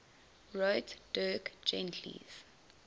wrote dirk gently's